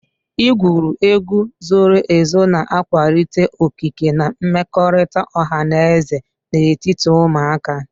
Igwuru egwu zoro ezo na-akwalite okike na mmekọrịta ọha na eze n'etiti ụmụaka.